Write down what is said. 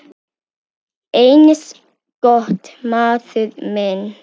Eins gott, maður minn